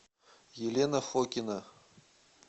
елена фокина